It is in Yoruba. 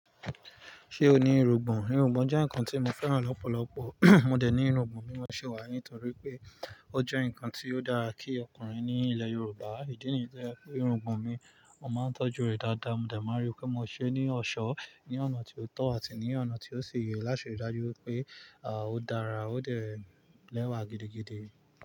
Ṣé o ní irungbọ̀n? Irungbọ̀n jẹ́ ǹkan tí mo fẹ́ràn lọ́pọ̀lọpọ̀, mo dẹ̀ ní irungbọ̀n mi ló ṣe wà nítorí pé ó jẹ́ ǹkan tí ó dára kí ọkùnrin ní ilẹ̀ Yorùbá. Ìdí nìyẹ́ pé irungbọ̀n mi, mo máa ń tọ́jú rẹ̀ dáadáa, mo dẹ̀ máa rí pé mo ṣe é ní ọ̀ṣọ́, ní ọ̀nà tí ó tọ́ àti ní ọ̀nà tí ó ṣe ìyè láṣẹ ìdájú pé, à, ó dára ó dẹ̀ lẹ́wà gidigidi.